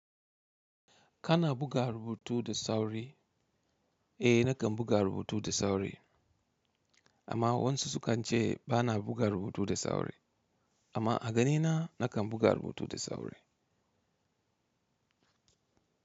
Kana buga rubutu da sauri? Eh nakan buga rubutu da sauri amma wasu sukan ce bana buga rubutu da sauri amma a ganina nakan buga rubutu da sauri.